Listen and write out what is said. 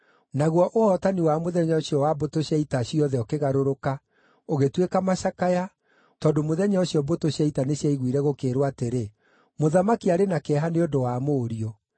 Naguo ũhootani wa mũthenya ũcio wa mbũtũ cia ita ciothe ũkĩgarũrũka, ũgĩtuĩka macakaya, tondũ mũthenya ũcio mbũtũ cia ita nĩciaiguire gũkĩĩrwo atĩrĩ, “Mũthamaki arĩ na kĩeha nĩ ũndũ wa mũriũ.”